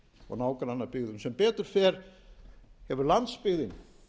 og nágrannabyggðum sem betur fer hefur landsbyggðin